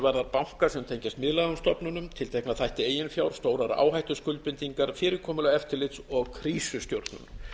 varðar banka sem tengjast miðlægum stofnunum tiltekna þætti eigin fjár stórar áhættuskuldbindingar fyrirkomulag eftirlits og krísustjórnun